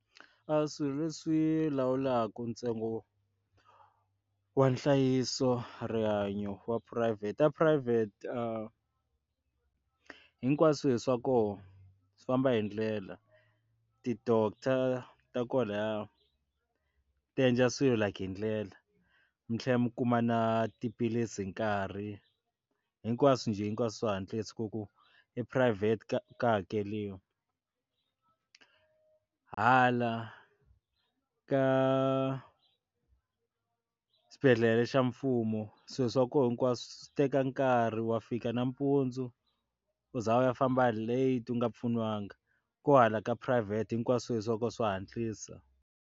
A swilo leswi lawulaka ntsengo wo wa nhlayiso wa rihanyo wa phurayivhete a private hinkwaswo swi swa kona swi famba hindlela ti-doctor ta kwalaya ti endla swilo like hindlela mi tlhela mi kuma na tiphilisi nkarhi hinkwaswo njhe hinkwaswo hantlisa ku ku i private ka ka hakeriwa hala ka xibedhlele xa mfumo swilo swa koho hinkwaswo swi teka nkarhi wa fika nampundzu u za u ya famba late u nga pfuniwanga, ku hala ka phurayivhete hinkwaswo swilo swa koho swa hatlisa.